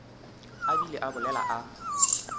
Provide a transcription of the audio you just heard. a bile a bolela a